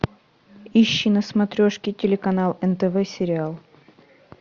ищи на смотрешке телеканал нтв сериал